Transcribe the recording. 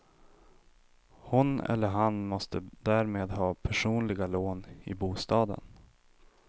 Hon eller han måste därmed ha personliga lån i bostaden.